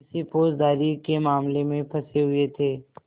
किसी फौजदारी के मामले में फँसे हुए थे